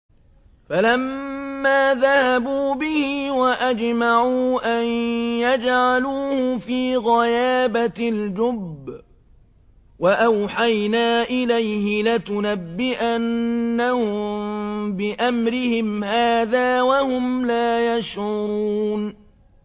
فَلَمَّا ذَهَبُوا بِهِ وَأَجْمَعُوا أَن يَجْعَلُوهُ فِي غَيَابَتِ الْجُبِّ ۚ وَأَوْحَيْنَا إِلَيْهِ لَتُنَبِّئَنَّهُم بِأَمْرِهِمْ هَٰذَا وَهُمْ لَا يَشْعُرُونَ